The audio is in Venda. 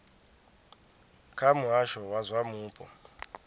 kha muhasho wa zwa mupo